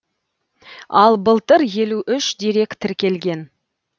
ал былтыр елу үш дерек тіркелген